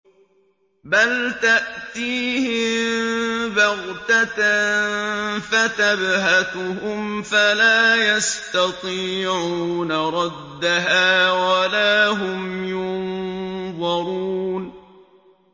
بَلْ تَأْتِيهِم بَغْتَةً فَتَبْهَتُهُمْ فَلَا يَسْتَطِيعُونَ رَدَّهَا وَلَا هُمْ يُنظَرُونَ